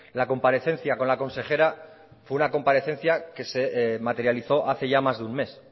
la comparecencia con la consejera fue una comparecencia que se materializó hace ya más de un mes